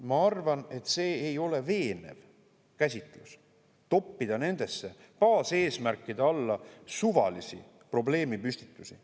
Ma arvan, et ei ole veenev käsitlus toppida nende baaseesmärkide alla suvalisi probleemipüstitusi.